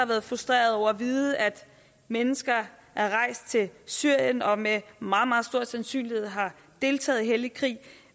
været frustrerede over at vide at mennesker er rejst til syrien og med meget meget stor sandsynlighed har deltaget i hellig krig